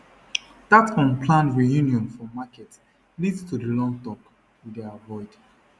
that unplanned reunion for market lead to the long talk we dey avoid